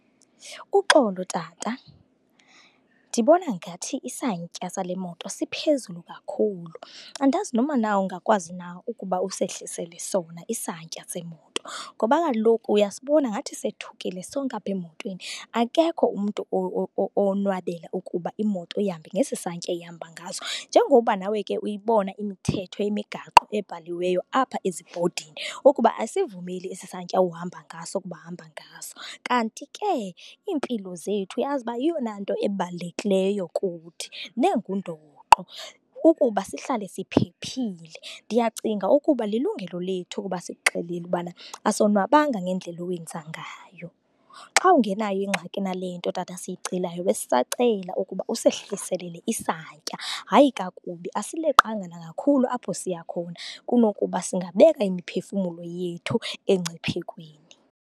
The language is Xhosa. Uxolo tata, ndibona ngathi isantya sale moto siphezulu kakhulu. Andazi noma na ungakwazi na ukuba usehlisele sona isantya semoto? Ngoba kaloku uyasibona ngathi sethukile sonke apha emotweni, akekho umntu owonwabela ukuba imoto ihambe ngesi santya ihamba ngaso. Njengoba nawe ke uyibona imithetho yemigaqo ebhaliweyo apha ezibhodini ukuba asivumeli esi santya uhamba ngaso ukuba hamba ngaso. Kanti ke iimpilo zethu, uyazi uba yeyona nto ebalulekileyo kuthi nengundoqo ukuba sihlale siphephile. Ndiyacinga ukuba lilungelo lethu ukuba sikuxelele ubana asonwabanga ngendlela owenza ngayo. Xa ungenayo ingxaki nale nto tata siyicelayo, besisacela ukuba usehlisele isantya. Hayi kakubi, asileqanga nakakhulu apho siya khona kunokuba singabeka imiphefumulo yethu engciphekweni.